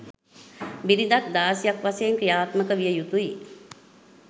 බිරිඳක් දාසියක් වශයෙන් ක්‍රියාත්මක විය යුතුයි